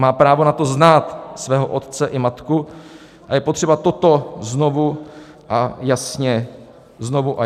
Má právo na to znát svého otce i matku, a je potřeba toto znovu a jasně připomínat.